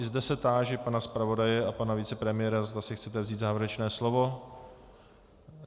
I zde se táži pana zpravodaje a pana vicepremiéra, zda si chtějí vzít závěrečné slovo.